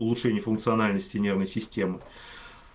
улучшения функциональности нервной системы